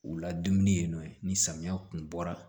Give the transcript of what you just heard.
U ladumuni yen nɔ ni samiya kun bɔra